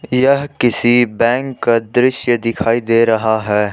यह किसी बैंक का दृश्य दिखाई दे रहा है।